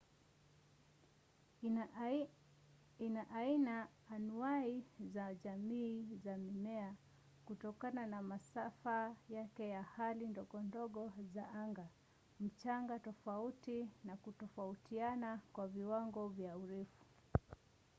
ina aina anuwai za jamii za mimea kutokana na masafa yake ya hali ndogondogo za anga mchanga tofauti na kutofautiana kwa viwango vya urefu